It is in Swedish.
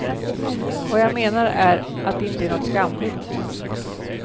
Vad jag menar är att det inte är något skamligt.